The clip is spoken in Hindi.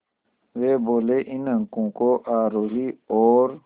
वे बोले इन अंकों को आरोही और